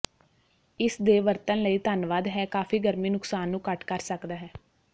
ਇਸ ਦੇ ਵਰਤਣ ਲਈ ਧੰਨਵਾਦ ਹੈ ਕਾਫ਼ੀ ਗਰਮੀ ਨੁਕਸਾਨ ਨੂੰ ਘੱਟ ਕਰ ਸਕਦਾ ਹੈ